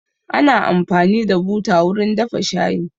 Ana amfani da buta wurin dafa shayi